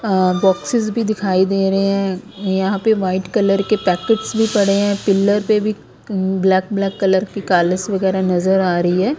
अ boxes भीं दिखाई दे रहें हैं यहाँ पे व्हाइट कलर के पॅकेट्स भीं पड़े हैं पिलर पे भीं ब्लॅक ब्लॅक कलर की वगैरा नजर आ रहीं हैं।